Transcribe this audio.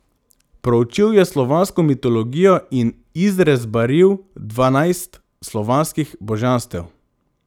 Proučil je slovansko mitologijo in izrezbaril dvanajst slovanskih božanstev.